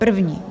- První.